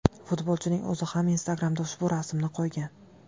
Futbolchining o‘zi ham Instagramda ushbu rasmni qo‘ygan.